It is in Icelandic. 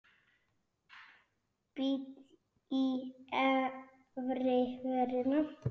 Bít í efri vörina.